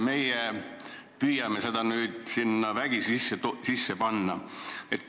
Meie püüame seda vägisi oma seadusse lisada.